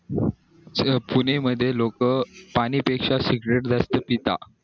पुणे मध्ये लोक पाण्या पेक्षा cigarete जास्त पिता